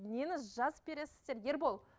нені жазып бересіздер ербол